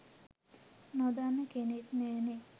නොදන්න කෙනෙක් නෑනේ.